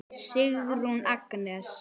Sigrún Agnes.